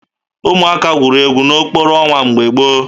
Ụmụaka gwuru egwu n'okpuru ọnwa mgbe gboo